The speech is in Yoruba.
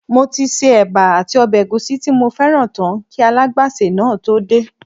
Mo ti se éba àti ọbẹ̀ ègúsí tí mo fẹ́ràn tán kí alágbàsè náà tó dé